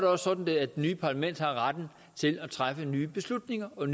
også sådan at det nye parlament har retten til at træffe nye beslutninger og